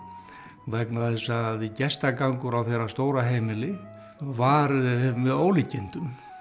vegna þess að gestagangur á þeirra stóra heimili var með ólíkindum